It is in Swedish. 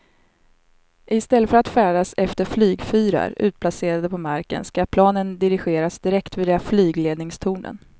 I stället för att färdas efter flygfyrar utplacerade på marken ska planen dirigeras direkt via flygledningstornen.